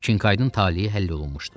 Kinkaydın taleyi həll olunmuşdu.